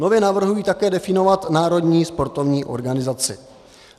Nově navrhuji také definovat národní sportovní organizaci.